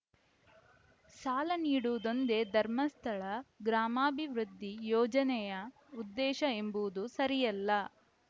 ಸಾಲ ನೀಡುವುದೊಂದೇ ಧರ್ಮಸ್ಥಳ ಗ್ರಾಮಾಭಿವೃದ್ಧಿ ಯೋಜನೆಯ ಉದ್ದೇಶ ಎಂಬುದು ಸರಿಯಲ್ಲ